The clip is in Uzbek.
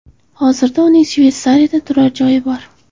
Hozirda uning Shveysariyada turar joyi bor.